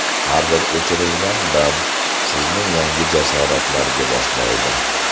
Har bir o‘chirilgan band sizni yangi jasoratlarga boshlaydi.